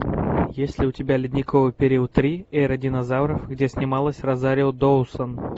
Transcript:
есть ли у тебя ледниковый период три эра динозавров где снималась розарио доусон